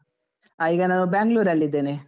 ಆ ಈಗ ನಾನು Bangalore ಲ್ಲಿದೇನೆ.